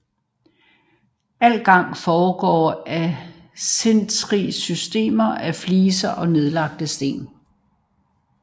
Al gang foregår af et sindrigt system af fliser og nedlagte sten